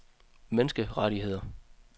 menneskerettigheder